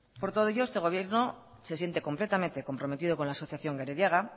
por todo ello este gobierno se siente completamente comprometido con la asociación gerediaga